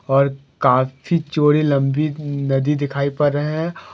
और काफी चौड़ी लंबी नदी दिखाई पर रहे हैं।